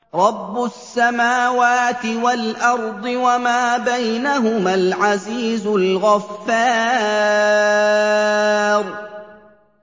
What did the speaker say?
رَبُّ السَّمَاوَاتِ وَالْأَرْضِ وَمَا بَيْنَهُمَا الْعَزِيزُ الْغَفَّارُ